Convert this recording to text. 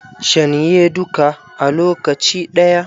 Shan ye dukka a lokaci ɗaya